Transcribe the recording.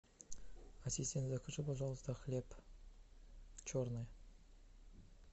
ассистент закажи пожалуйста хлеб черный